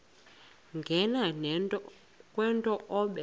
nganeno kwento obe